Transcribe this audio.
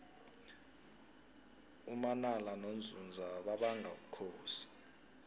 umanala nonzunza babanga ubukhosi